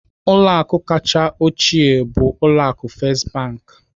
Ụlọ akụ kachasị ochie bụ ụlọ akụ First Bank.